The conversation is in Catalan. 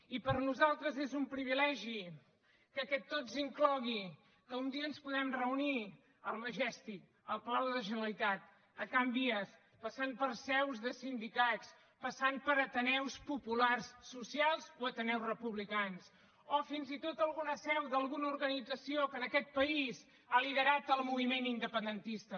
i per nosaltres és un privilegi que aquest tots inclogui que un dia ens puguem reunir al majestic al palau de la generalitat a can vies passant per seus de sindicats passant per ateneus populars socials o ateneus republicans o fins i tot alguna seu d’alguna organització que en aquest país ha liderat el moviment independentista